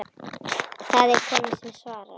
Það er kona sem svarar.